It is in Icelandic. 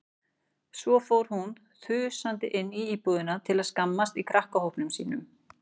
Svo fór hún þusandi inn í íbúðina til að skammast í krakkahópnum sínum.